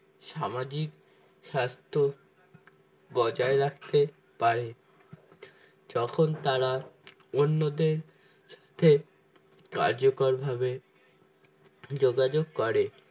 সামাজিক স্বাস্থ্য বজায় রাখতে পারে যখন তারা অন্যদের স্বার্থে কার্যকর ভাবে যোগাযোগ করে